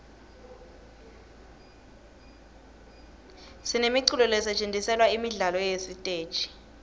sinemiculo lesetjentiselwa imidlalo yesiteji